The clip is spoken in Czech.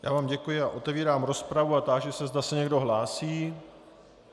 Já vám děkuji a otevírám rozpravu a táži se, zda se někdo hlásí.